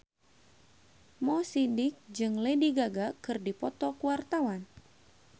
Mo Sidik jeung Lady Gaga keur dipoto ku wartawan